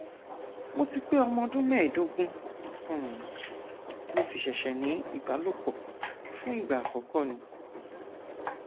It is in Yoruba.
mo ti pé ọmọ ọdún mẹẹẹdógún um mo sì ṣẹṣẹ ní ìbálòpọ fún ìgbà àkọkọ ni